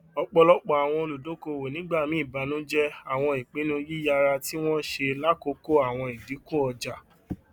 ọpọlọpọ àwọn olùdókòowó nígbà míì banujẹ àwọn ìpinnu yíyára tí wọn ṣe lákòókò àwọn ìdínkù ọjà